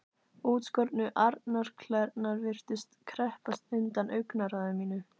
Útskornu arnarklærnar virtust kreppast undan augnaráði mínu.